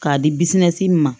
K'a di ma